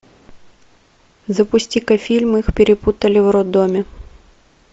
запусти ка фильм их перепутали в роддоме